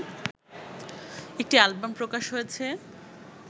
একটি অ্যালবাম প্রকাশ হয়েছে